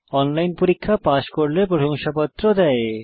online পরীক্ষা pass করলে প্রশংসাপত্র দেয়